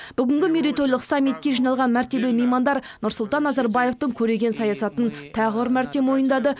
бүгінгі мейрейтойлық саммитке жиналған мәртебелі меймандар нұрсұлтан назарбаевтың көреген саясатын тағы бір мәрте мойындады